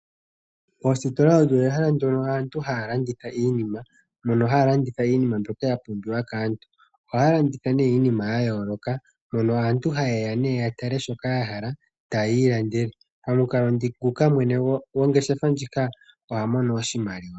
Moositola omo mehala mono aantu haya landitha iinima mbyoka ya pumbiwa kaantu. Ohaya landitha iinima yayooloka mono aantu haye ya ya tale shoka yahala yo taya landa. Momukalo ngoka mwene gongeshefa oha mono oshimaliwa.